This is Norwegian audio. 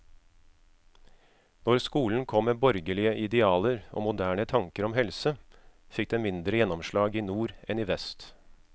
Når skolen kom med borgerlige idealer og moderne tanker om helse, fikk den mindre gjennomslag i nord enn i vest.